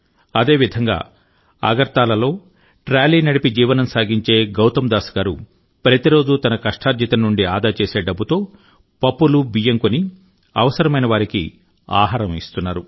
అదేవిధంగా అగర్తలాలో ట్రాలీ నడిపి జీవనం సాగించే గౌతమ్ దాస్ గారు ప్రతిరోజూ తన కష్టార్జితం నుండి ఆదా చేసే డబ్బుతో పప్పులు బియ్యం కొని అవసరమైనవారికి ఆహారం ఇస్తున్నారు